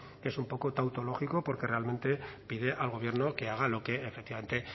que es un poco tautológico porque realmente pide al gobierno que haga lo que efectivamente